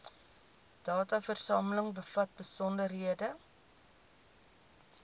dataversameling bevat besonderhede